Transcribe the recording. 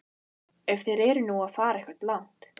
Ef þeir eru nú að fara eitthvað langt.